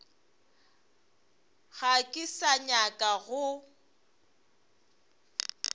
ga ke sa nyaka go